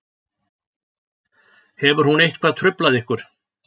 Hefur hún eitthvað truflað ykkur